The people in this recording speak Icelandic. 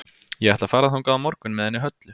Ég ætla að fara þangað á morgun með henni Höllu.